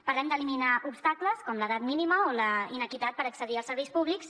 parlem d’eliminar obstacles com l’edat mínima o la inequitat per accedir als serveis públics